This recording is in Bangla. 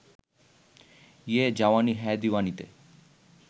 ইয়ে জাওয়ানি হ্যায় দিওয়ানি’তে